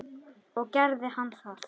Og gerði hann það?